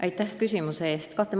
Aitäh küsimuse eest!